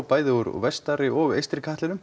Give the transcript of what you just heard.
bæði úr vestari og eystri katlinum